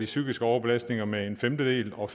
psykiske overbelastning med en femtedel og